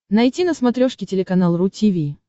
найти на смотрешке телеканал ру ти ви